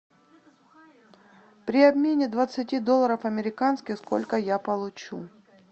при обмене двадцати долларов американских сколько я получу